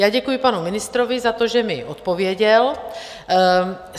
Já děkuji panu ministrovi za to, že mi odpověděl.